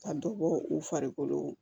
Ka dɔ bɔ u farikolo